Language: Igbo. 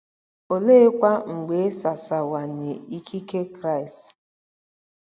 Oleekwa mgbe e sasawanye ikike Kraist?